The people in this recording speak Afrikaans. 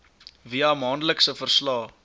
via maandelikse verslae